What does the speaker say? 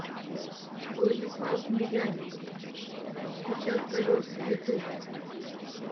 владислав медяник стучат колеса ютуб